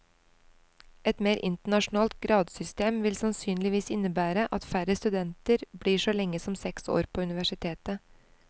Et mer internasjonalt gradssystem vil sannsynligvis innebære at færre studenter blir så lenge som seks år på universitetet.